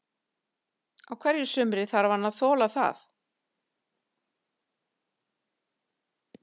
Á hverju sumri þarf hann að þola það.